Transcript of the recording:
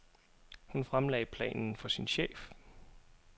Hun fremlagde planen for sin chef.